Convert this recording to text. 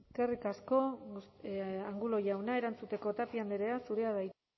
eskerrik asko angulo jauna erantzuteko tapia andrea zurea da hitza